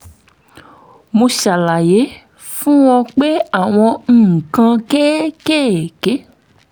mo ṣàlàyé fún un pé àwọn nǹkan kéékèèké